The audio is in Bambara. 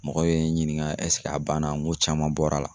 Mɔgɔ be n ɲiniŋa a banna? Ŋo caman bɔr'a la.